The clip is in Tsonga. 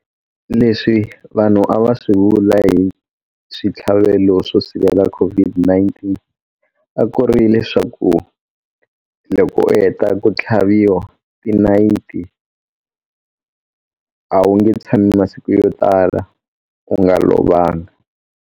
Leswi vanhu a va swi vula hi switlhavelo swo sivela COVID-19 a ku ri leswaku loko u heta ku tlhaviwa tinayiti a wu nge tshami masiku yo tala u nga lovanga.